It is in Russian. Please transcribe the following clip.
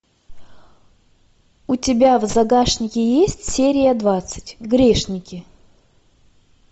у тебя в загашнике есть серия двадцать грешники